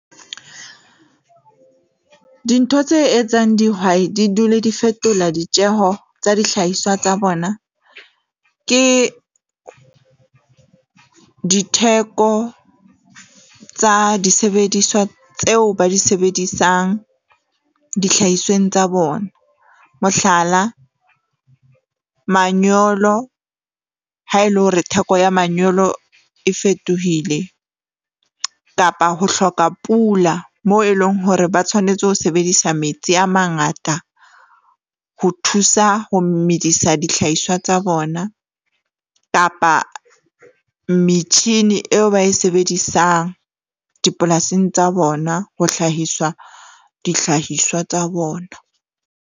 Dintho tse etsang dihwai di dule di fetola ditjeho tsa dihlahiswa tsa bona, ke ditheko tsa disebediswa tseo ba di sebedisang dihlahisweng tsa bona. Mohlala, manyolo ha e le hore theko ya manyolo e fetohile kapa ho hloka pula, moo e leng hore ba tshwanetse ho sebedisa metsi a mangata. Ho thusa ho medisa dihlahiswa tsa bona, kapa metjhini eo ba e sebedisang dipolasing tsa bona ho hlahiswa dihlahiswa tsa bona.